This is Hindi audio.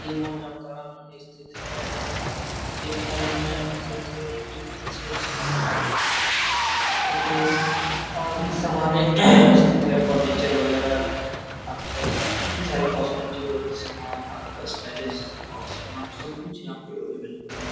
ये मोल जामताड़ा में स्थित है और ये मोल में मतलब की बहुत अच्छे अच्छे कपड़े और भी सामने है स्थित है फर्नीचर वागेर आपका जितने सारे कॉस्मेटिक वाले समान आपका स्टाइलिश वाले सामान सब कुछ यहां पे अविलेबले हैं।